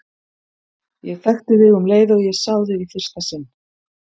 Ég þekkti þig um leið og ég sá þig í fyrsta sinn.